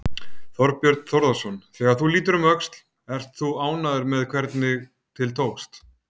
Þorbjörn Þórðarson: Þegar þú lítur um öxl, ert þú ánægður með hvernig til tókst?